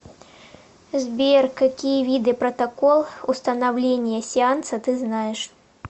сбер какие виды протокол установления сеанса ты знаешь